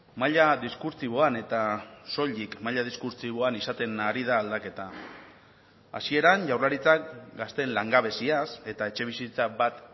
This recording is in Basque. maila diskurtsiboan eta soilik maila diskurtsiboan izaten ari da aldaketa hasieran jaurlaritzak gazteen langabeziaz eta etxebizitza bat